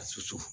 A susu